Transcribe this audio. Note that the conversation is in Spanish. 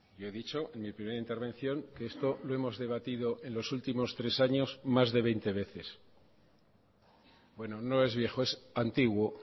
yo he dicho en mi primera intervención que esto lo hemos debatido en los últimos tres años más de veinte veces bueno no es viejo es antiguo